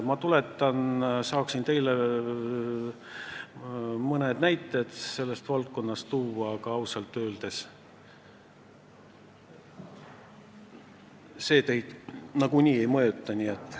Ma saaksin teile sellest valdkonnast mõned näited tuua, aga see teid ausalt öeldes nagunii ei mõjutaks.